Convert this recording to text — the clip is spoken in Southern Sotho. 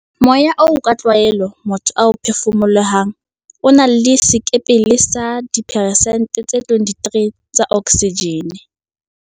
Moya oo ka tlwaelo motho a o phefumolohang o na le sekepele sa dipheresente tse 23 tsa oksijene.